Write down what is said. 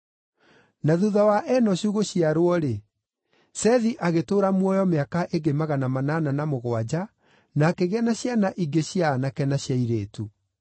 Na thuutha wa Enoshu gũciarwo-rĩ, Sethi agĩtũũra muoyo mĩaka ĩngĩ magana manana na mũgwanja na akĩgĩa na ciana ingĩ cia aanake na cia airĩtu.